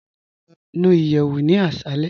Nú ìyẹwù ní àṣàlẹ̀.